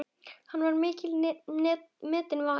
Hann var mikils metinn maður.